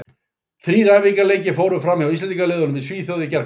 Þrír æfingaleikir fóru fram hjá Íslendingaliðunum í Svíþjóð í gærkvöld.